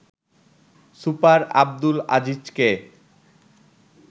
super Abdul আজিজকে